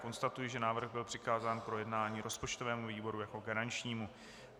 Konstatuji, že návrh byl přikázán k projednání rozpočtovému výboru jako garančnímu.